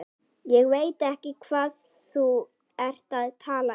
Ég veit ekki hvað þú ert að tala um.